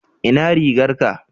ina rigar ka?